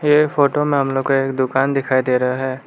यह फोटो में हम लोग को एक दुकान दिखाई दे रहा है।